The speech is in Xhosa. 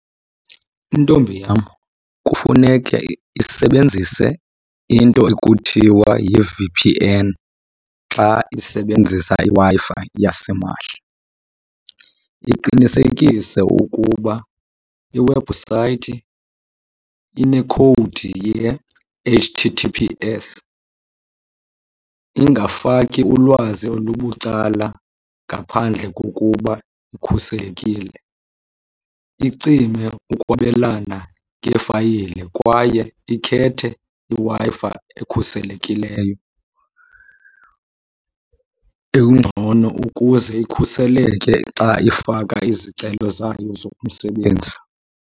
Intombi yam kufuneke isebenzise into ekuthiwa yi-V_P_N xa isebenzisa iWi-Fi yasimahla. Iqinisekise ukuba iwebhusayithi inekhowudi ye-H_T_T_P_S. Ingafaki ulwazi olubucala ngaphandle kokuba ikhuselekile. Icime ukwabelana ngeefayile kwaye ikhethe iWi-Fi ekhuselekileyo engcono ukuze ikhuseleke xa ifaka izicelo zayo zomsebenzi.